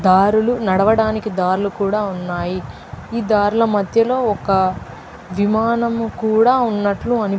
దారులు నడవడానికి దారులు కూడా ఉన్నాయి ఈ దారుల మద్యలో ఒక విమానం కూడా ఉన్నట్టు అనీ --